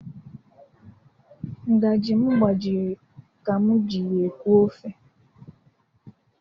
Ngaji m gbajiri ka m ji ya eku ofe.